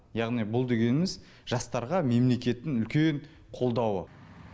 яғни бұл дегеніміз жастарға мемлекеттің үлкен қолдауы